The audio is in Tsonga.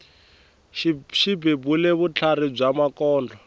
xi bebule vutlhari bya makondlo